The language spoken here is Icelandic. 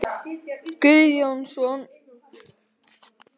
Guðjónsson, óperusöngvari og sviðsstjóri, og Guðrún Guðmundsdóttir, eiginkona